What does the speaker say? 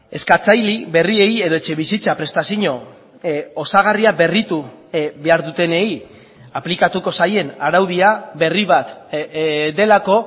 eskatzaile berriei edo etxebizitza prestazio osagarria berritu behar dutenei aplikatuko zaien araudia berribat delako